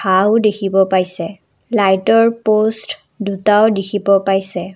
দেখিব পাইছে লাইটৰ প'ষ্ট দুটাও দেখিব পাইছে।